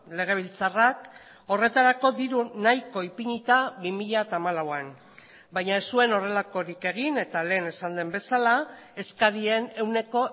legebiltzarrak horretarako diru nahiko ipinita bi mila hamalauan baina ez zuen horrelakorik egin eta lehen esan den bezala eskarien ehuneko